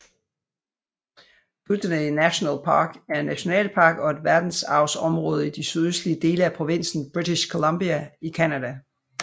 Kootenay National Park er en nationalpark og et verdensarvsområde i de sydøstlige dele af provinsen British Columbia i Canada